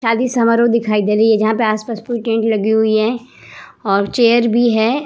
शादी समारोह दिखाई दे रही है जहाँ पे आस-पास पूरी टेंट लगी हुई है और चेयर भी है ।